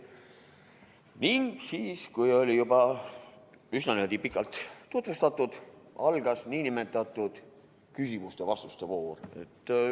Ning siis, kui oli juba üsna pikalt tutvustatud, algas nn küsimuste-vastuste voor.